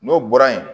N'o bɔra yen